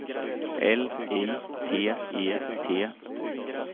L I T E T